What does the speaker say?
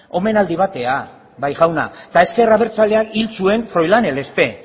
omenaldi batera bai jauna eta ezker abertzaleak hil zuen froilán elespe